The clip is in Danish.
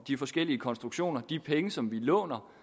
de forskellige konstruktioner og de penge som vi låner